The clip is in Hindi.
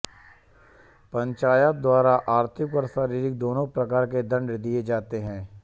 पंचायत द्वारा आर्थिक व शारीरिक दोनों प्रकार के दंड दिए जाते हैं